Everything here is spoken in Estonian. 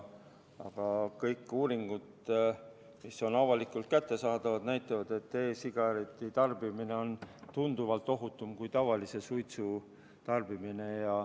Aga kõik uuringud, mis on avalikult kättesaadavad, näitavad, et e-sigareti tarbimine on tunduvalt ohutum kui tavalise suitsu tarbimine.